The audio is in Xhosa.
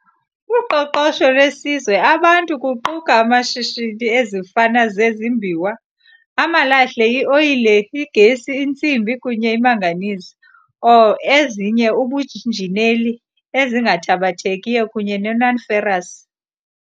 Uqoqosho lwesizwe abantu kuquka amashishini ezifana zezimbiwa, amalahle, i-oyile, igesi, intsimbi kunye manganese ore, ezinye ubunjineli, ezingathabathekiyo kunye nonferrous.